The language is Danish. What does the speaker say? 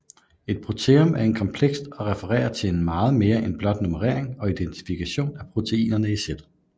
Et proteom er komplekst og refererer til meget mere end blot nummerering og identifikation af proteinerne i sættet